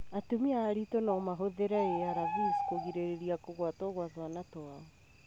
Atumia aritũ no mahũthĩre ARV kũgirĩrĩria kũgwatio gwa twana twao.